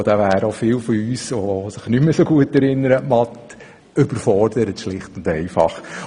Ich glaube, auch da wären viele von uns, die sich nicht mehr so gut an den Mathematikunterricht erinnern können, schlicht überfordert.